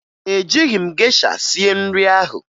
Ejighi m gesha sie nri ahụ